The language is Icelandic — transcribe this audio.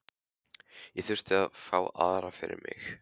Ég þurfti að fá aðra fyrir mig.